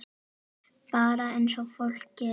Bara eins og fólk gerir.